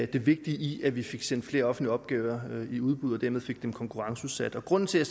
det vigtige i at vi fik sendt flere offentlige opgaver i udbud og dermed fik dem konkurrenceudsat grunden til at